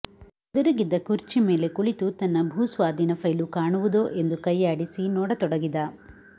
ಎದುರಿಗಿದ್ದ ಕುರ್ಚಿ ಮೇಲೆ ಕುಳಿತು ತನ್ನ ಭೂಸ್ವಾಧೀನ ಫೈಲು ಕಾಣುವುದೋ ಎಂದು ಕೈಯಾಡಿಸಿ ನೋಡತೊಡಗಿದ